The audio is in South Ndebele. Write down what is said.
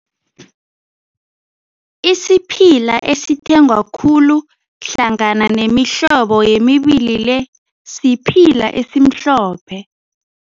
Isiphila esithengwa khulu hlangana nemihlobo emibili le, siphila esimhlophe.